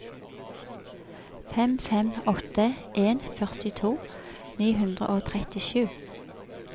fem fem åtte en førtito ni hundre og trettisju